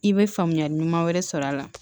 I bɛ faamuyali ɲuman wɛrɛ sɔrɔ a la